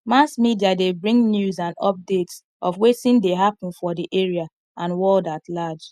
mass media de bring news and updates of wetin de happen for di area and world at large